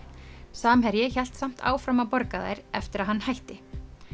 samherji hélt samt áfram að borga þær eftir að hann hætti